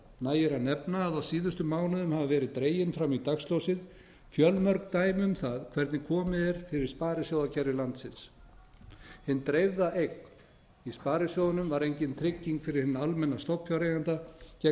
nægir að nefna að á síðustu mánuðum hafa verið dregin fram í dagsljósið fjölmörg dæmi um það hvernig komið er fyrir sparisjóðakerfi landsins hin dreifða eign í sparisjóðunum var engin trygging fyrir hinn almenna stofnfjáreiganda gegn